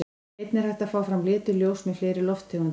Einnig er hægt að fá fram lituð ljós með fleiri lofttegundum.